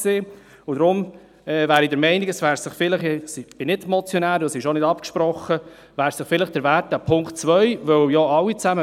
Deshalb bin ich der Meinung – ich bin nicht Motionär und es ist auch nicht abgesprochen –, der Punkt 2 wäre es vielleicht wert, dass man sich überlegt, diesen als Postulat zu überweisen.